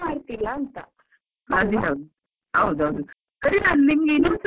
ಅದು ಹೌದು ಹೌದೌದು. ಸರಿ ನಾನ್ ನಿಂಗೆ ಇನ್ನೊಂದು ಸರ್ತಿ call ಮಾಡ್ಲಾ?